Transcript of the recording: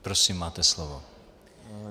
Prosím, máte slovo.